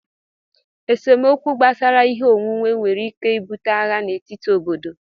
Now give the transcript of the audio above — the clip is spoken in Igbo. Esemokwu gbasara ihe onwunwe nwere ike ibute agha n'etiti obodo